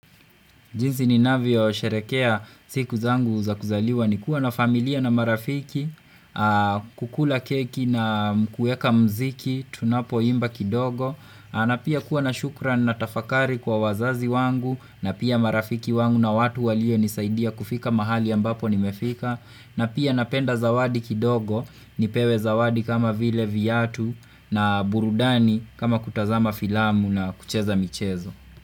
Jinsi ninavyo sherehekea siku zangu za kuzaliwa ni kuwa na familia na marafiki, kukula keki na kueka mziki, tunapoimba kidogo. Kana pia kuwa na shukran na tafakari kwa wazazi wangu, na pia marafiki wangu na watu walionisaidia kufika mahali ambapo nimefika. Napia napenda zawadi kidogo, nipewe zawadi kama vile viatu na burudani kama kutazama filamu na kucheza michezo.